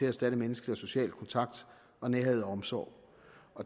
erstatte menneskelig og social kontakt nærhed og omsorg